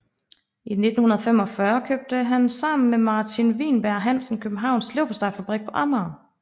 I 1945 købte han sammen med Martin Wienberg Hansen Københavns Leverpostejfabrik på Amager